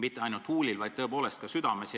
Mitte ainult huulil, vaid ka südames.